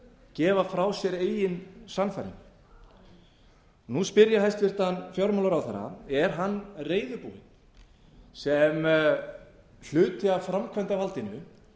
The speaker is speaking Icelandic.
gefa frá sér eigin sannfæringu nú spyr ég hæstvirtan fjármálaráðherra er hann reiðubúinn sem hluti af framkvæmdarvaldinu